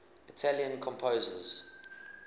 italian composers